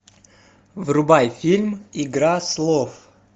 врубай фильм игра слов